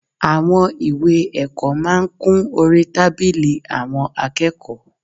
Àwọn ìwé ẹ̀kọ́ máa ń kún orí tábìlì àwọn akẹ́kọ̀ọ́